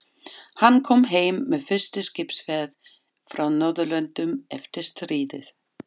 Hann kom heim með fyrstu skipsferð frá Norðurlöndum eftir stríðið.